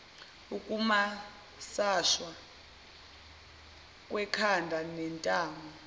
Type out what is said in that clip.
ukumasashwa kwekhanda nentamo